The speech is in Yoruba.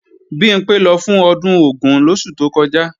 Bimpé lọ fún ọdún Ògún lóṣù tó kọjá